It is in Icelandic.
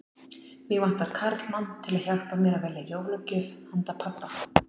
Mig vantar karlmann til að hjálpa mér að velja jólagjöf handa pabba